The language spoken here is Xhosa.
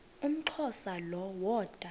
umxhosa lo woda